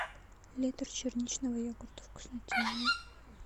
литр черничного йогурта вкуснотеево